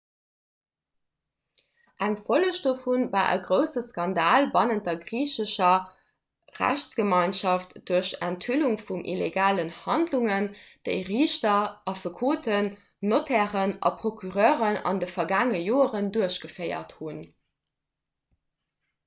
eng folleg dovu war e grousse skandal bannent der griichescher rechtsgemeinschaft duerch d'enthüllung vun illegalen handlungen déi riichter affekoten notairen a procureuren an de vergaangene joren duerchgeféiert hunn